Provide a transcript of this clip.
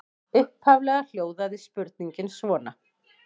Upphaflega hljóðaði spurningin svona: